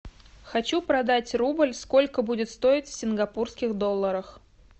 хочу продать рубль сколько будет стоить в сингапурских долларах